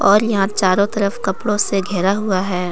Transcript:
और यहां पे चारों तरफ कपड़ों से घेरा हुआ है।